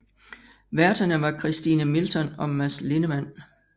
Værterne var Christine Milton og Mads Lindemann